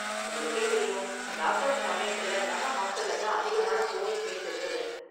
உங்களுக்கே தெரியும், lockdown சமயத்துல நம்ம ஹாஸ்டல்ல தான் அதிகமான கோவிட் கேஸ் இருந்தது